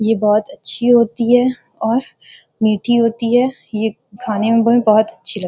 ये बहुत अच्छी होती है और मीठी होती है ये खाने में बहुत अच्छी लग --